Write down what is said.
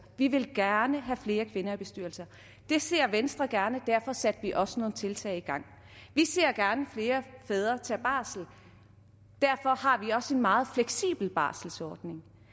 vi vil gerne have flere kvinder i bestyrelser det ser venstre gerne og derfor satte vi også nogle tiltag i gang vi ser gerne flere fædre tage barsel derfor har vi også en meget fleksibel barselsordning